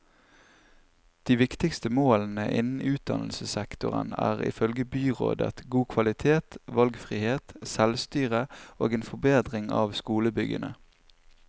De viktigste målene innen utdannelsessektoren er, ifølge byrådet, god kvalitet, valgfrihet, selvstyre og en forbedring av skolebyggene.